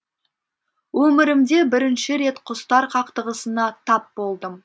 өмірімде бірінші рет құстар қақтығысына тап болдым